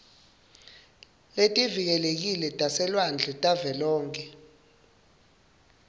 letivikelekile taselwandle tavelonkhe